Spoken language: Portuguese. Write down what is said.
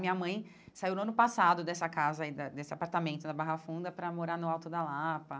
Minha mãe saiu no ano passado dessa casa aí da, desse apartamento da Barra Funda, para morar no Alto da Lapa.